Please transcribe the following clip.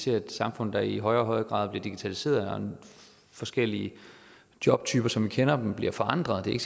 et samfund der i højere og højere grad bliver digitaliseret og når forskellige jobtyper som vi kender dem bliver forandret det er